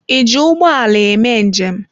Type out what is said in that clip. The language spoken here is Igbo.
Ị ji ụgbọ ala eme njem?